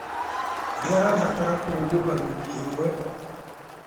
Nĩarabatara kũhumũka wiki ĩmwe